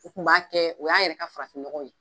U kun b'a kɛ, o y'an yɛrɛ ka farafin nɔgɔ ye.